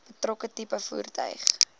betrokke tipe voertuig